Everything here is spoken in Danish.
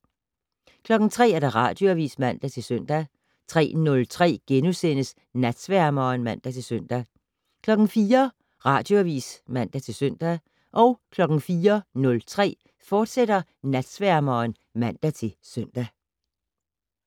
03:00: Radioavis (man-søn) 03:03: Natsværmeren *(man-søn) 04:00: Radioavis (man-søn) 04:03: Natsværmeren, fortsat (man-søn)